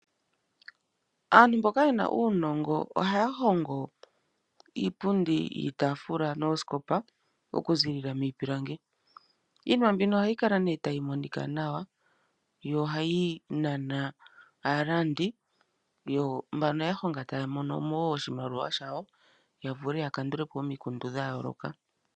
Aantu mboka yena uunongo ohaya hongo iipundi, iitaafula noosikopa okuziilila miipilangi. Iinima mbino ohayi kala nee tayi monika nawa yo ohayi nana aalandi yo mbano yahonga taya monomo oshimaliwa shawo yavule yakandulepo omikundu dhayooloka.